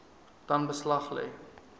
dan beslag lê